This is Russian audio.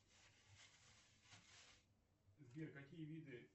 сбер какие виды